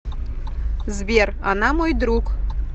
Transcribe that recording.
сбер она мой друг